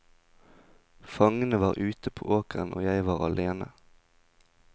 Fangene var ute på åkeren og jeg var alene.